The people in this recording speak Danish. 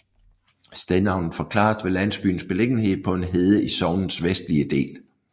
Stednavnet forklares ved landsbyens beliggenhed på en hede i sognets vestlige del